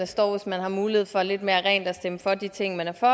står hvis man har mulighed for lidt mere rent at stemme for de ting man er for